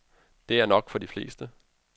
Det er nok for de fleste.